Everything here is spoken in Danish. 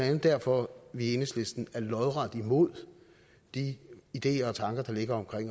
andet derfor er vi i enhedslisten lodret imod de ideer og tanker der ligger om